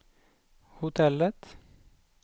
hotellet